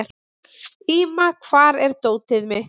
Íma, hvar er dótið mitt?